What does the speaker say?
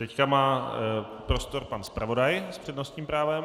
Teď má prostor pan zpravodaj s přednostním právem.